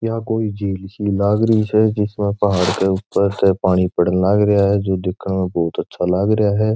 यह कोई झील सी लाग रही है जिसमे पहाड़ के ऊपर से पानी पड़न लाग रिया है जो दिखने में बहुत अच्छा लाग रिया है।